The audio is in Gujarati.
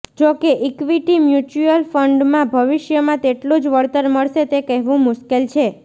જો કે ઇક્વિટી મ્યુચ્યુઅલ ફંડમાં ભવિષ્યમાં તેટલું જ વળતર મળશે તે કહેવું મુશ્કેલ છે